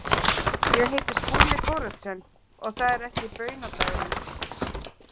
Ég heiti Skúli Thoroddsen og það er ekki baunadagurinn.